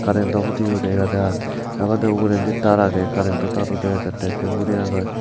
karento hudiyo dega jar ebodey ugurendi taar agey karento taar udi ejettey sei hurey agey.